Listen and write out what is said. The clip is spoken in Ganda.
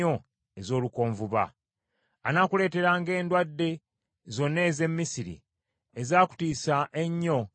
Anaakuleeteranga endwadde zonna ez’e Misiri, ezaakutiisa ennyo, ne zikwezingangako.